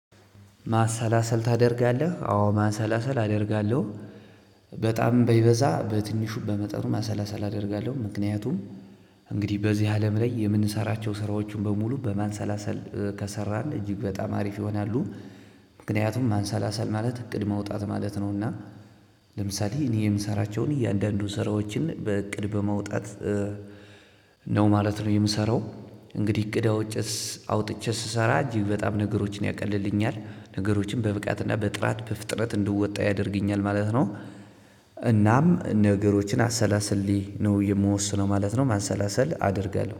ማሰላሰል ታደርጋለህ? አዎ ማሰላሰል አደርጋለው። በጣም በይበዛ በትንሹ በመጠኑ ማሰላሰል አደርጋለው ምክንያቱም እንግዲህ በዚህ አለም ላይ የምንሰራቸው ስራዎችን በሙሉ በማሰላሰል ከሰራን እጅግ በጣም አሪፍ ይሆናሉ። ምክንያቱም ማንሰላሰል ማለት እቅድ መውጣት ማለት ነውና። ለምሳሌ እኔ የምሰራቸውን እያንዳንዱን ስራዎችን በእቅድ በመውጣት ነው ማለት ነው የምሰራው። እንግዲህ እቅድ አውጥቼ ስሰራ እጅግ በጣም ነገሮችን ያቀልልኛል ነገሮችን በብቃት እና በጥራት በፍጥነት እንድወጣ ያደርግኛል ማለት ነው። እናም ነገሮችን አሰላስሌ ነው የምወስነው ማለት ነው ማሰላሰል አደርጋለው